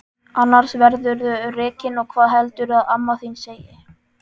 Annars verðurðu rekinn og hvað heldurðu að amma þín segi!